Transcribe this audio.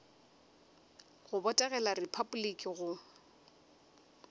go botegela repabliki le go